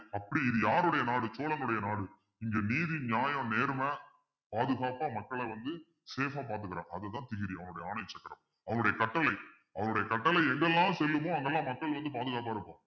அப்படி இது யாருடைய நாடு சோழனுடைய நாடு இங்க நீதி நியாயம் நேர்மை பாதுகாப்பா மக்களை வந்து safe ஆ பார்த்துக்கணும் அதுதான் திகிரி அவனுடைய ஆணை சக்கரம் அவருடைய கட்டளை அவருடைய கட்டளை எங்கு எல்லாம் செல்லுமோ அங்கேயெல்லாம் மக்கள் வந்து பாதுகாப்பா இருப்பாங்க